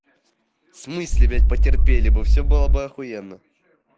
в смысле блять потерпели бы все было бы ахуенно